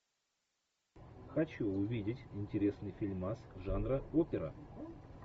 хочу увидеть интересный фильмас жанра опера